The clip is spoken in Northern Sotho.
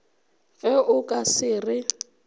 ge o ka se re